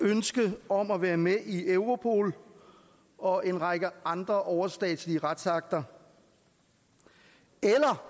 ønske om at være med i europol og en række andre overstatslige retsakter eller